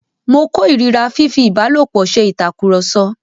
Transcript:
Mo kó ìríra fífi ìbálòpọ̀ se ìtakùrọ̀sọ.